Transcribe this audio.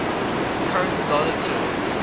current dollar terms